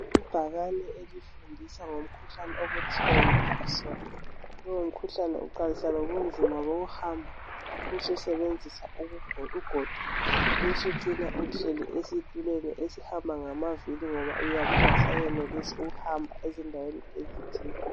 Ibhakane elifundisa ngomkhuhlane okuthiwa yiParkinson. Lowu mkhuhlane uqalisa ngobunzima bokuhamba. Ubususebenzisa ugodo. Ubusucina usuhlezi esitulweni esihamba ngamavili, ngoba uyabe ungasayenelisi ukuhamba ezindaweni ezithile.